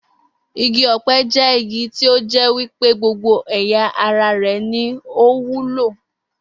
Igi ò̩pe̩ jé̩ igi tí ó jé̩ wí pé gbogbo è̩yà ara rè̩ ni ó wúlò